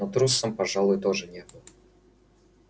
но и трусом пожалуй тоже не был